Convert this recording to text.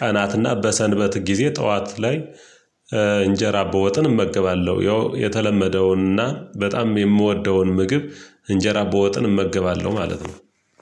ቀናትና በሰንበት ጊዜ ጠዋት ላይ እንጀራ በወጥን እመገባለሁ። ያው የተለመደውንና በጣም የምወደውን ምግብ እንጀራ በወጥን እመገባለሁ ማለት ነው።